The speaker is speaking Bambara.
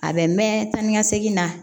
A bɛ mɛn tan ni ka segin na